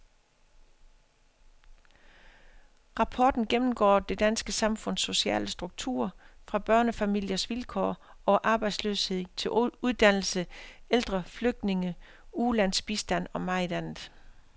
Rapporten gennemgår det danske samfunds sociale struktur, fra børnefamiliers vilkår over arbejdsløshed til uddannelse, ældre, flygtninge, ulandsbistand og meget andet.